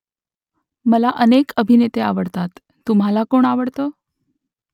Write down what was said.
मला अनेक अभिनेते आवडतात . तुम्हाला कोण आवडतं ?